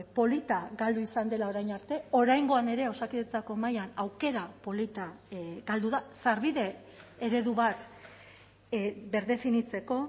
polita galdu izan dela orain arte oraingoan ere osakidetzako mahaian aukera polita galdu da sarbide eredu bat birdefinitzeko